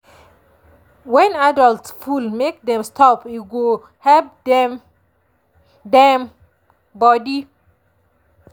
when adult full make dem stop e go help dem dem body.